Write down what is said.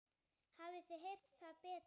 Að gefa þau út!